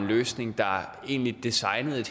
løsning der egentlig designede